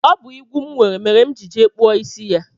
Ọ bụ igwu m nwere mere m jiri jee kpụọ isi ya